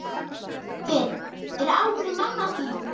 Hver er alvöru mamma þín?